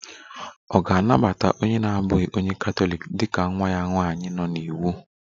Ọ̀ ga-anabata onye na-abụghị onye Katọlik dị ka nwa ya nwanyị nọ n'iwu?